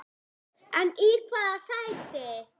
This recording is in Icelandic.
En í hvaða sæti?